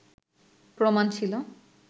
প্রমাণ ছিল